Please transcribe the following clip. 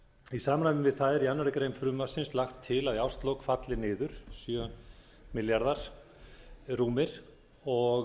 í samræmi við það er í annarri grein frumvarpsins lagt til að í árslok falli niður sjö þúsund fimmtíu og